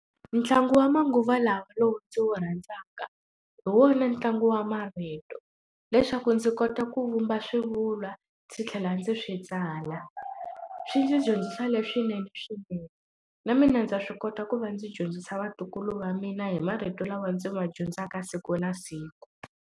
Ntlangu wa manguva lawa lowu ndzi wu rhandzaka hi wona ntlangu wa marito leswaku ndzi kota ku vumba swivulwa ndzi tlhela ndzi swi tsala swi ndzi dyondzisa leswinene swinene na mina ndza swi kota ku va ndzi dyondzisa vatukulu va mina hi marito lawa ndzi ma dyondzaka siku na siku.